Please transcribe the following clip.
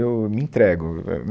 Eu me entrego. É eh